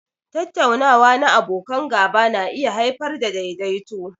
Tattaunawa na abokan gaba na iya haifar da daidaituwa.